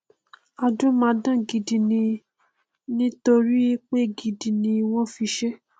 adúmáadán gidi ni nítorí pé dígí ni wọn fi ṣe